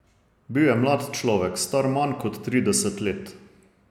Bil je mlad človek, star manj kot trideset let.